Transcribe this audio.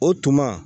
O tuma